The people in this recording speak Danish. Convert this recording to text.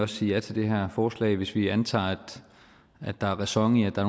sige ja til det her forslag hvis vi antager at der er ræson i at der